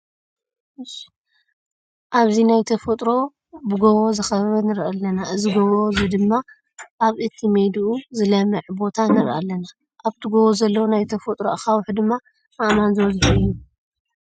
ኣብዚ ናይ ተፈጥሮ ብጎቦ ዝከበበ ንርኢ ኣለና። እዚ ጎቦ እዚ ድማ ኣብ እቲ ሜድኡ ዝለመዐ ቦታ ንርኢ ኣለና። ኣብቲ ጎቦ ዘለዉ ናይ ተፈጥሮ ኣካውሕ ድማ ኣእማን ዝበዘሖ እዩ።